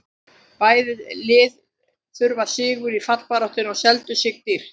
Bæði lið þurftu sigur í fallbaráttunni og seldu sig dýrt.